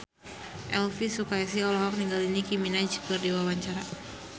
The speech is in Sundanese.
Elvy Sukaesih olohok ningali Nicky Minaj keur diwawancara